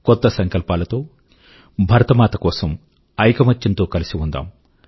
కొత్త సంకల్పాల తో భరతమాత కోసం ఐకమత్యం తో కలసి ఉందాం